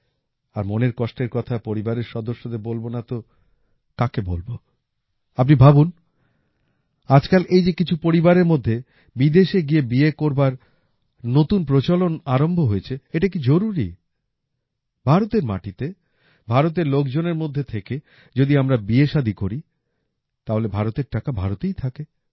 আর মনের কষ্টের কথা পরিবারের সদস্যের বলবো না তো কাকে বলবো আপনি ভাবুন আজকাল এই যে কিছু পরিবারের মধ্যে বিদেশে গিয়ে বিয়ে করবার নতুন প্রচলন আরম্ভ হয়েছে এটা কি জরুরী ভারতের মাটিতে ভারতের লোকজনের মধ্যে থেকে যদি আমরা বিয়েশাদী করি তাহলে ভারতের টাকা ভারতেই থাকে